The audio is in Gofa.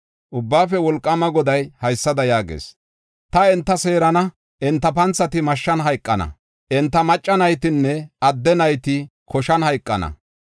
Ubbaafe Wolqaama Goday haysada yaagees: “Ta enta seerana; enta panthati mashshan hayqana; enta macca naytinne adde nayti koshan hayqana;